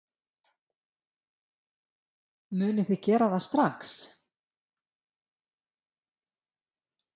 Edda: Munið þið gera það strax?